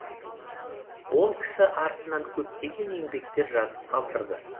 ол кісі артынан көптеген еңбектер жазып қалдырды